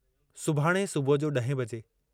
सुभाणे सुबह जो 10 बजे...।